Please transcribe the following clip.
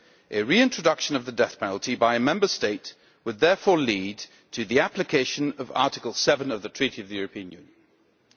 A reintroduction of the death penalty by a Member State would, therefore, lead to the application of Article 7 of the Treaty of the European Union.